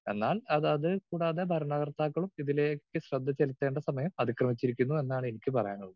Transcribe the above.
Speaker 2 എന്നാൽ അതതിൽ കൂടാതെ ഭരണകർത്താക്കളും ഇതിലേക്ക് ശ്രദ്ധ ചെലുത്തേണ്ട സമയം അതിക്രമിച്ചിരിക്കുന്നു എന്നാണ് എനിക്ക് പറയാനുള്ളത്.